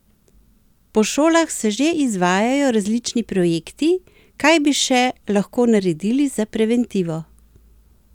Po šolah se že izvajajo različni projekti, kaj bi še lahko naredili za preventivo?